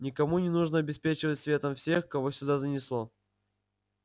никому не нужно обеспечивать светом всех кого сюда занесло